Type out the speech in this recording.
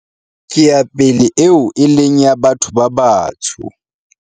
ke ya pele eo e leng ya batho ba batsho